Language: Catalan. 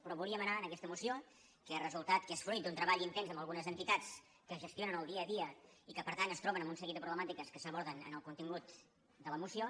però volíem anar en aquesta moció que és resultat que és fruit d’un treball intens amb algunes entitats que gestionen el dia a dia i que per tant es troben amb un seguit de problemàtiques que s’aborden en el contingut de la moció